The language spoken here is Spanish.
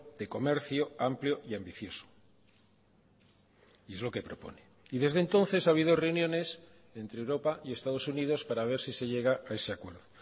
de comercio amplio y ambicioso y es lo que propone y desde entonces ha habido reuniones entre europa y estados unidos para ver si se llega a ese acuerdo